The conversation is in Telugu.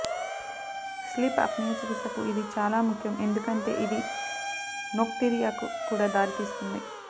స్లీప్ అప్నియా చికిత్సకు ఇది చాలా ముఖ్యం ఎందుకంటే ఇది నోక్టురియాకు కూడా దారి తీస్తుంది